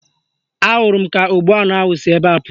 Ahụrụ m ka ogbu anụ ahụ si ebe anụ